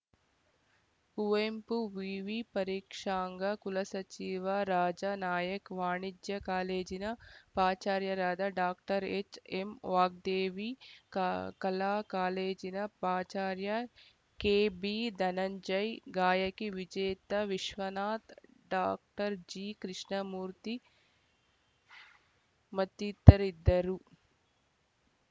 ಕುವೆಂಪು ವಿವಿ ಪರೀಕ್ಷಾಂಗ ಕುಲಸಚಿವ ರಾಜಾನಾಯ್ಕ ವಾಣಿಜ್ಯ ಕಾಲೇಜಿನ ಪಾಚಾರ್ಯರಾದ ಡಾಕ್ಟರ್ ಎಚ್‌ಎಂವಾಗ್ದೇವಿ ಕ ಕಲಾ ಕಾಲೇಜಿನ ಪಾಚಾರ್ಯ ಕೆಬಿಧನಂಜಯ್‌ ಗಾಯಕಿ ವಿಜೇತಾ ವಿಶ್ವನಾಥ್‌ ಡಾಕ್ಟರ್ ಜಿಕೃಷ್ಣಮೂರ್ತಿ ಮತ್ತಿತರರಿದ್ದರು